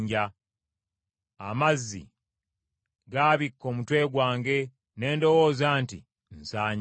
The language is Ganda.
amazzi gaabikka omutwe gwange, ne ndowooza nti, nsanyeewo.